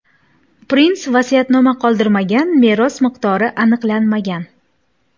Prins vasiyatnoma qoldirmagan, meros miqdori aniqlanmagan.